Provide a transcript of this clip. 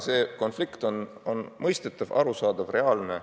See konflikt on mõistetav, arusaadav, reaalne.